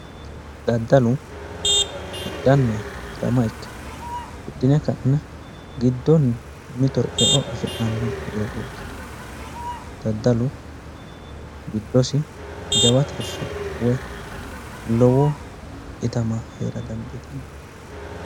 Daddallu hidhanna hirama ikanno hidhine ka'ne giddonni mitore e'o afi'nanni dogootti daddallu giddossi jawa tirife woyi lowo itama heera dandiitanno